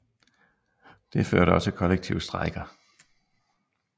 Det førte også til kollektive strejker